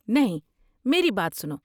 نہیں، میری بات سنو۔